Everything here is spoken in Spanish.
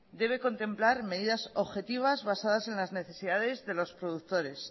debe contemplar medidas objetivas basadas en las necesidades de los productores